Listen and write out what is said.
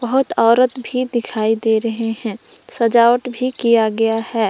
बहोत औरत भी दिखाई दे रहे हैं सजावट भी किया गया है।